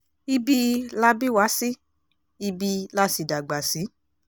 ibi la bí wa sí ibi la sì dàgbà sí